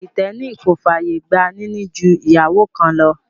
Kìrìtẹ́nì kò fàyè gba níní ju ìyàwó kan lọ